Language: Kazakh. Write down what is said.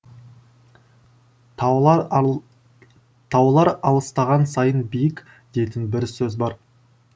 таулар алыстаған сайын биік дейтін бір сөз бар